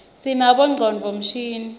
sinabonqcondvo mshini